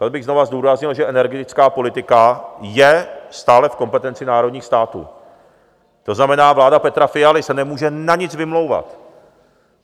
Tady bych znovu zdůraznil, že energetická politika je stále v kompetenci národních států, to znamená, vláda Petra Fialy se nemůže na nic vymlouvat.